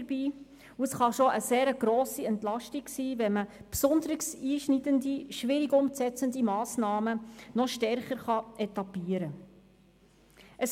Es kann schon eine grosse Entlastung darstellen, wenn man besonders einschneidende, schwierig umzusetzende Massnahmen stärker etappieren kann.